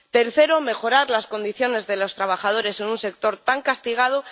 Tercero, mejorar las condiciones de los trabajadores en un sector tan castigado.